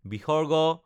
ঃ